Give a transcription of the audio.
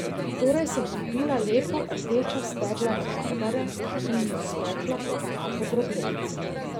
Torej sem kupila lepo rdeča stebla rabarbare in jo spekla pod kapo drobljenca.